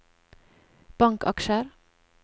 bankaksjer